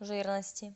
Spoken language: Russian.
жирности